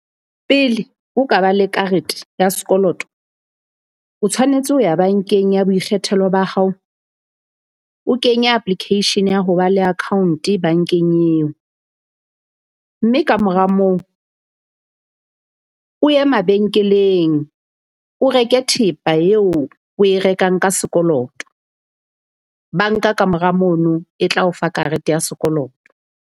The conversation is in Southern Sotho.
Pele o ka ba le karete ya sekoloto, o tshwanetse ho ya bankeng ya boikgethelo ba hao. O kenya application ya ho ba le account bankeng eo. Mme kamora moo o ye mabenkeleng o reke thepa eo oe rekang ka sekoloto. Banka ka mora mono e tla o fa karete ya sekoloto.